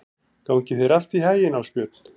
Gangi þér allt í haginn, Ásbjörn.